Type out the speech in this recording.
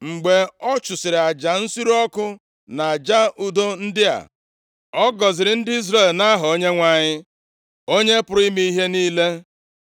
Mgbe ọ chụsịrị aja nsure ọkụ na aja udo ndị a, ọ gọziri ndị Izrel nʼaha Onyenwe anyị, Onye pụrụ ime ihe niile.